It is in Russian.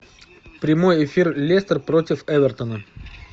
прямой эфир лестер против эвертона